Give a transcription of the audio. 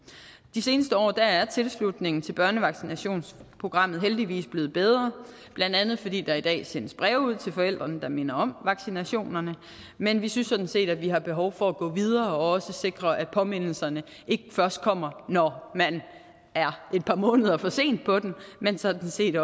de seneste år er tilslutningen til børnevaccinationsprogrammet heldigvis blevet bedre blandt andet fordi der i dag sendes breve ud til forældrene der minder om vaccinationerne men vi synes sådan set at vi har behov for at gå videre og også sikre at påmindelserne ikke først kommer når man er et par måneder for sent på den men sådan set